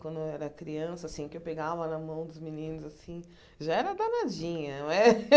Quando eu era criança, assim, que eu pegava na mão dos meninos, assim, já era danadinha, né?